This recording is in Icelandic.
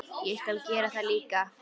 Ég skal gera það líka.